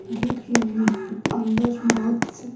gate अंदर बोहोत से --